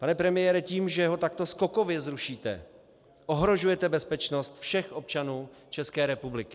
Pane premiére, tím, že ho takto skokově zrušíte, ohrožujete bezpečnost všech občanů České republiky.